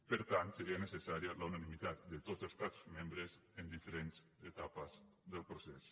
per tant seria necessària la unanimitat de tots els estats membres en diferents etapes del procés